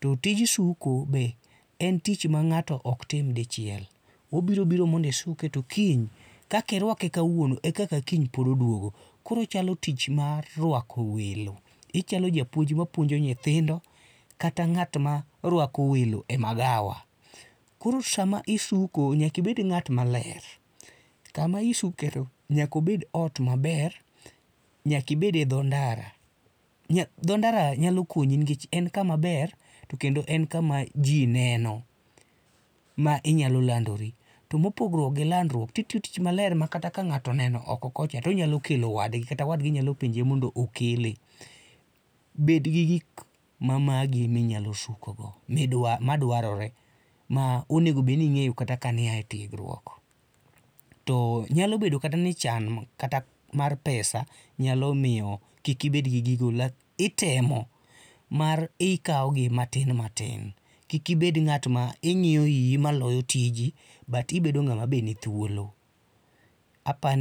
to tij suko be en tic h ma ng'ato ok tim dichiel, obiro biro mondo isuke to kiny, kaka iruake kawuono e kaka kiny pod oduogo. Koro ochalo tich ruako welo, ichalo japuonj mapuonjo nyithindo kata ng'at ma rwako welo e magawa. Koro sama isuko nyaka ibed ng'at maler. Kama isuke to nyaka obed ot maber, nyaka ibed edho ndara, dho ndara nyalo konyi nikech en kama ber to kendo en kama ji neno ma inyalo landori to mopogo gi landruok to itiyo tich maler ma kata kang'ato oneni oko kocha to onyalo kelo wadgi kata wadgi nyalo penje mondo okele. Bed gi gik mamagi ma inyalo suko go madwarore, ma onego bed ni ing'eyo kata ka ne ia e tiegruok. To nyalo bedo kata ni chan kata mar pesa nyalo miyo kik ibedgi gigo to itemo, mar ikaogi kata matin matin. Kik ibed ng'at ma ing'iyo iyi maloyo tiji but ibedo ng'ama be nithuolo. Aparo ni.